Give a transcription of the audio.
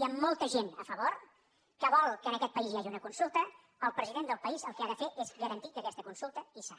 i amb molta gent a favor que vol que en aquest país hi hagi una consulta el president del país el que ha de fer és garantir que aquesta consulta hi serà